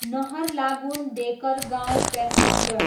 Naharlagun, Dekargaon passenger